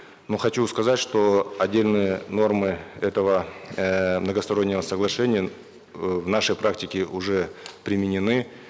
ну хочу сказать что отдельные нормы этого эээ многостороннего соглашения э в нашей практике уже применены